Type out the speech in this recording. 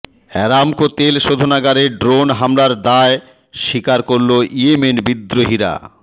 Aramco তেল শোধানাগারে drone হামলার দায় স্বীকার করল ইয়েমেন বিদ্রোহীরা